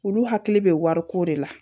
Olu hakili bɛ wariko de la